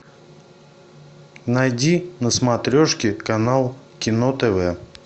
найди на смотрешке канал кино тв